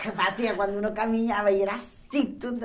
Que fazia quando um caminhava e era assim tudo.